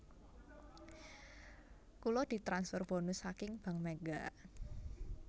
Kula ditransfer bonus saking Bank Mega